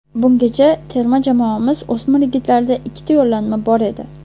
Bungacha terma jamoamiz o‘smir yigitlarida ikkita yo‘llanma bor edi.